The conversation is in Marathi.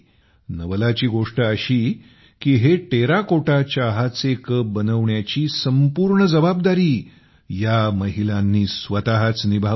नवलाची गोष्ट अशी की हे टेराकोटा चहाचे कप बनविण्याची संपूर्ण जबाबदारी या महिलांनी स्वतःच निभावली